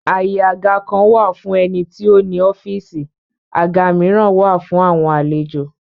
Àyè àga kan wà fún ẹni tí ó ní ọ́fìsì, àga míràn wà fún àwọn àlejò